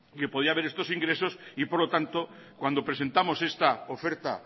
que podía haber estos ingresos y por lo tanto cuando presentamos esta oferta